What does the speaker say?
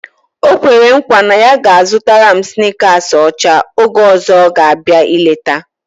O kwere nkwa na ya ga-azụtara m snikasị ọcha oge ọzọ ọ ga-abịa ileta